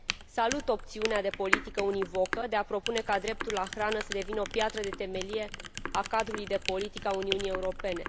Salut opțiunea de politică univocă de a propune ca dreptul la hrană să devină o piatră de temelie a cadrului de politică a Uniunii Europene.